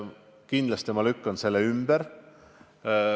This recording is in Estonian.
Kindlasti ma lükkan selle ümber.